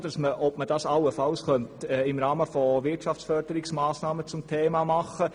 Eventuell könnte der Vorstoss im Rahmen von Wirtschaftsförderungsmassnahmen zum Thema gemacht werden.